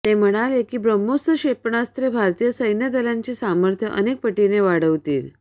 ते म्हणाले की ब्रह्मोस क्षेपणास्त्रे भारतीय सैन्यदलाचे सामर्थ्य अनेक पटींनी वाढवतील